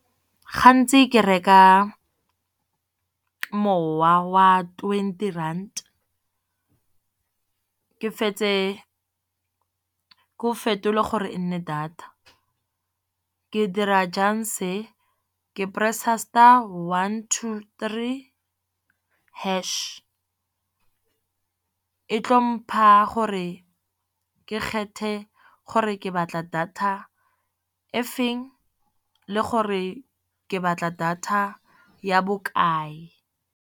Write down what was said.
Gantsi ke reka mowa wa twenty rand. Ke fetse keno fetole gore e nne data ke dira jang se, ke press-a one two three hash, e tlo mpha gore re ke kgethe gore ke batla data efeng le gore ke batla data ya bokae.